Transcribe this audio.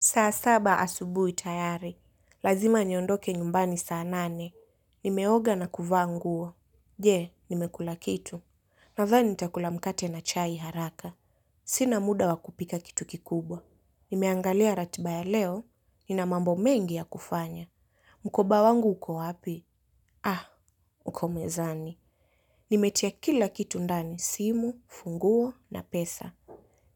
Saa saba asubui tayari. Lazima niondoke nyumbani saa nane. Nimeoga na kuvaa nguo. Je, nimekula kitu. Nadhani nitakula mkate na chai haraka. Sina muda wakupika kitu kikubwa. Nimeangalia ratiba ya leo. Nina mambo mengi ya kufanya. Mkoba wangu uko wapi? Ah, uko mezani. Nimetia kila kitu ndani. Simu, funguo na pesa.